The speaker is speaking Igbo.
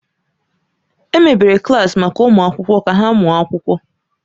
Emebere klaasị maka ụmụ akwụkwọ ka ha mụọ akwụkwọ.